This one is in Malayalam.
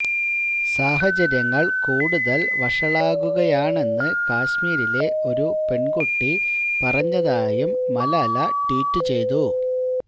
സാഹചര്യങ്ങൾ കൂടുതൽ വഷളാകുകയാണെന്ന് കശ്മീരിലെ ഒരു പെൺകുട്ടി പറഞ്ഞതായും മലാല ട്വീറ്റ് ചെയ്തു